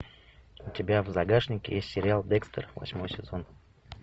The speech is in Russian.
у тебя в загашнике есть сериал декстер восьмой сезон